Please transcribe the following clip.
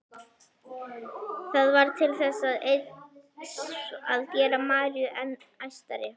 Það varð til þess eins að gera Maríu enn æstari.